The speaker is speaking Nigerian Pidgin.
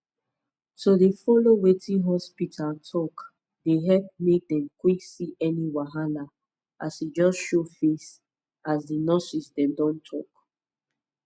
to dey follow wetin hospita talk dey epp make dem quck see any wahala as e just show face as di nurses dem don talk